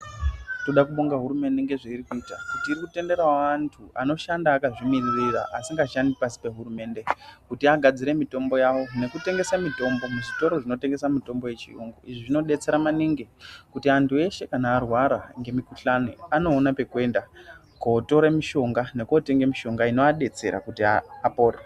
Ndoda kubonga hurumende ngezveiri kuita kuti iri kutenderawo antu anoshanda akazvimiririra asingashandi pasi pehurumende kuti agadzire mitombo yawo nekutengesa mitombo muzvitoro zvinotengesa mitombo yechiyungu izvi zvinodetsera maningi kuti antu eshe kana arwara ngemikuhlani anoona pekuenda kootore mishonga nekootenge mishonga inoadetsera kuti apore.